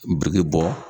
Biriki bɔ